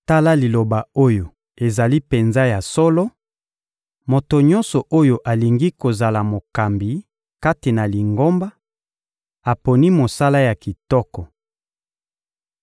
Tala liloba oyo ezali penza ya solo: Moto nyonso oyo alingi kozala mokambi kati na Lingomba aponi mosala ya kitoko.